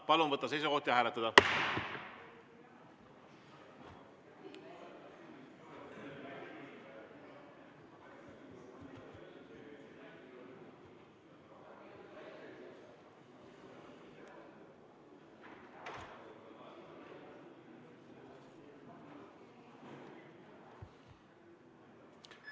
Palun võtta seisukoht ja hääletada!